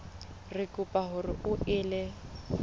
re kopa hore o ele